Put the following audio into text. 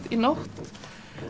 í nótt